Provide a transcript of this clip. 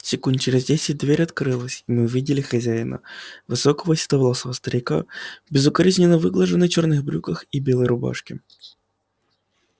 секунд через десять дверь открылась и мы увидели хозяина высокого седовласого старика в безукоризненно выглаженных черных брюках и белой рубашке